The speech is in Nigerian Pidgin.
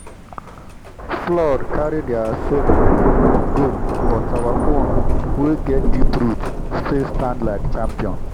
flood carry their sorghum go but our own wey get deep root still stand like champion.